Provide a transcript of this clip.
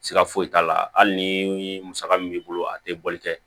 Siga foyi t'a la hali ni musaka min b'i bolo a tɛ bɔli kɛ